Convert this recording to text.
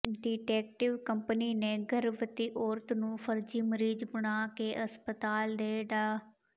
detective company ਨੇ ਗਰਭਵਤੀ ਔਰਤ ਨੂੰ ਫ਼ਰਜ਼ੀ ਮਰੀਜ਼ ਬਣਾ ਕੇ ਹਸਪਤਾਲ ਦੇ ਡਾ